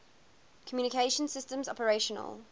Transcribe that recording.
communication systems operational